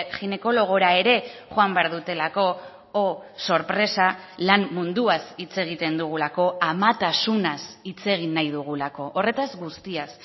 ginekologora ere joan behar dutelako oh sorpresa lan munduaz hitz egiten dugulako amatasunaz hitz egin nahi dugulako horretaz guztiaz